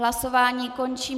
Hlasování končím.